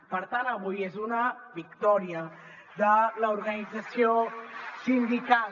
per tant avui és una victòria de l’organització sindical